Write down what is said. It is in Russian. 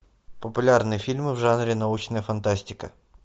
популярные фильмы в жанре научная фантастика